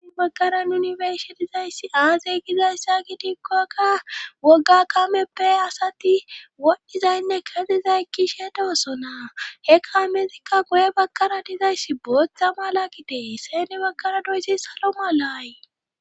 Bakaran yuniferse dizayssi aazey gizayssa gidikkokka wogga kameppe asati wodhdhizaynne kazizaykki she dosonaa he kaamezikka goye bakara dizayssi booththa mala gitee seene bakara doyssi salo malaayi